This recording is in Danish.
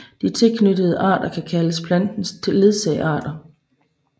De tilknyttede arter kan kaldes plantens ledsagearter